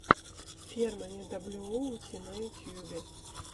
фермани даблюоути на ютубе